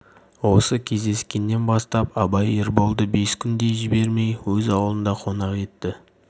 осы кездескеннен бастап абай ерболды бес күндей жібермей өз аулында қонақ етті